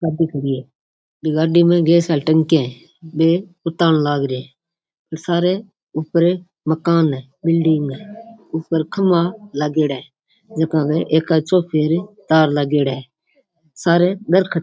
गाड़ी खड़ी है गाड़ी में गैस वाली टंकिया है बे उतार लाग रिया है और सारे ऊपर मकान है बिल्डिंग है ऊपर खम्बा लागेडा है एक काचो फिर तार लागेड़ा है सारे दरकत --